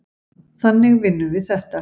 Þannig vinnum við þetta.